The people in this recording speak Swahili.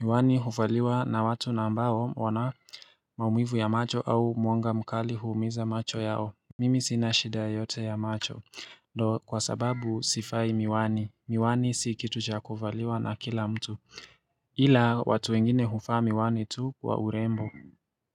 Miwani hufaliwa na watu nambao wanamaumuivu ya macho au mwanga mkali huumiza macho yao. Mimi sinashida yote ya macho. Do, kwa sababu sivai miwani. Miwani sikitu cha kuvaliwa na kila mtu. Ila, watu wengine huvaa miwani tu wa urembo.